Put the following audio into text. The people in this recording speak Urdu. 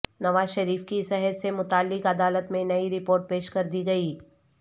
نواز شریف کی صحت سے متعلق عدالت میں نئی رپورٹ پیش کر دی گئی